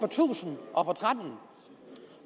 tusind